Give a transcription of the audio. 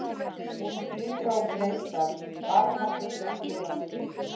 Hún glitrar og gneistar, barmafull af jólaskrauti.